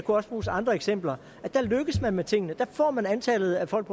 også bruges andre eksempler der lykkes man med tingene der får man antallet af folk